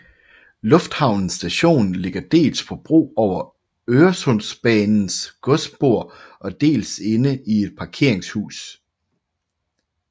Lufthavnen Station ligger dels på bro over Øresundsbanens godsspor og dels inde i et parkeringshus